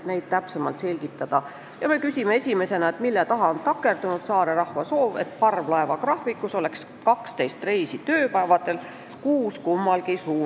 Palume neid täpsemalt selgitada ja küsime, mille taha on takerdunud saare rahva soovi täitmine, mille kohaselt oleks parvlaevagraafikus tööpäevadel 12 reisi, kummalgi suunal kuus.